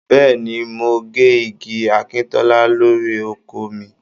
Bẹ́ẹ̀ni, mò ń gé igi akíntọ́lá lórí oko mi